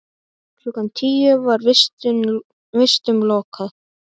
Klukkan tíu var vistum lokað.